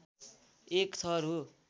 एक थर हो